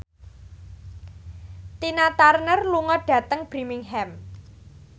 Tina Turner lunga dhateng Birmingham